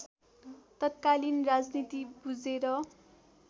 तत्कालीन राजनीति बुझेर